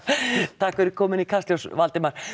takk fyrir komuna í Kastljós Valdimar